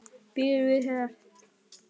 Býður við þér.